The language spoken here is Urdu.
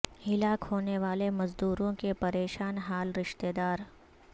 ہلاک ہونے والے مزدوروں کے پریشان حال رشتہ دار